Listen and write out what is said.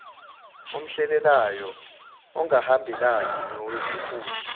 omholelayo ongahambelani nowesikhundla